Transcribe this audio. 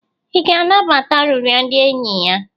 ị ga-anabata arịrịọ ndị enyi ya?